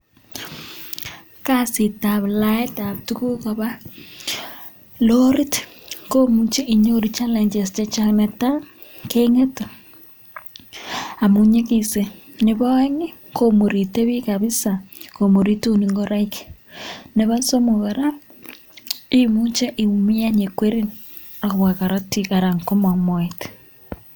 Kasitab laetab tukuk koba lorit komuche inyoru challenges chechang, netai kengete amu nyikisen, nebo aeng komurite piik kabisa komuritun ingoraik, nebo somok kora, imuche iumian ye kwerin ak kobwa korotik aran komong moet.